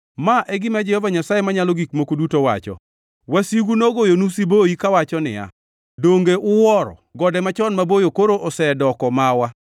Ma e gima Jehova Nyasaye Manyalo Gik Moko Duto wacho: Wasigu nogoyonu siboi kawacho niya, “Donge uwuoro! Gode machon maboyo koro osedoko mawa.” ’